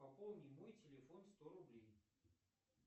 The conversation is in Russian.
пополни мой телефон сто рублей